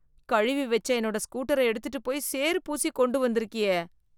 கழுவி வெச்ச என்னோட ஸ்கூட்டர எடுத்துட்டுப் போய் சேறு பூசி கொண்டு வந்திருக்கியே.